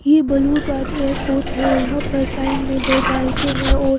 यह blue airport है और यहां पर साइड में दो बाइकें हैं औ--